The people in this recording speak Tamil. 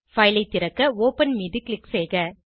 பைல் ஐ திறக்க ஒப்பன் மீது க்ளிக் செய்க